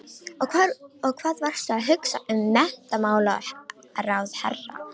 Og hvað varstu að hugsa um menntamálaráðherra?